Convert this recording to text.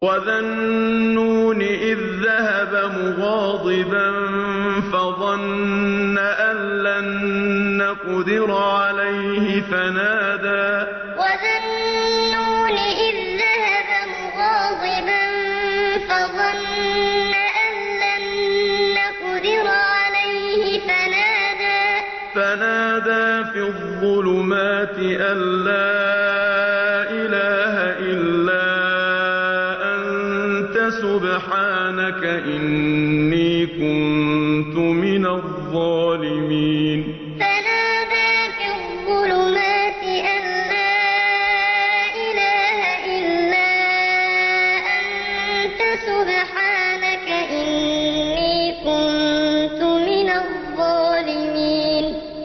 وَذَا النُّونِ إِذ ذَّهَبَ مُغَاضِبًا فَظَنَّ أَن لَّن نَّقْدِرَ عَلَيْهِ فَنَادَىٰ فِي الظُّلُمَاتِ أَن لَّا إِلَٰهَ إِلَّا أَنتَ سُبْحَانَكَ إِنِّي كُنتُ مِنَ الظَّالِمِينَ وَذَا النُّونِ إِذ ذَّهَبَ مُغَاضِبًا فَظَنَّ أَن لَّن نَّقْدِرَ عَلَيْهِ فَنَادَىٰ فِي الظُّلُمَاتِ أَن لَّا إِلَٰهَ إِلَّا أَنتَ سُبْحَانَكَ إِنِّي كُنتُ مِنَ الظَّالِمِينَ